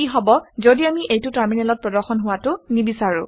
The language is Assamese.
কি হব ঘদি আমি এইটো টাৰ্মিনেলত প্ৰদৰ্শন হোৱাটো নিবিচাৰো